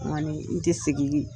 nkɔni tɛ segin